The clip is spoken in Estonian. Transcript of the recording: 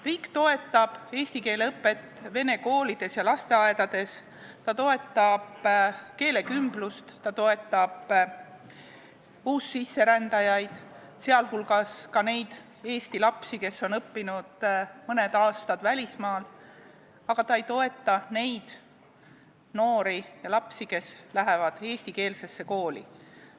Riik toetab eesti keele õpet vene koolides ja lasteaedades, ta toetab keelekümblust, ta toetab uussisserändajaid, sealhulgas neid Eesti lapsi, kes on õppinud mõned aastad välismaal, aga ta ei toeta neid noori ja lapsi, kes lähevad eestikeelsesse kooli ja kelle kodune keel ei ole eesti keel.